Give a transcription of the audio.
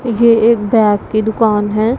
ये एक बैग की दुकान है।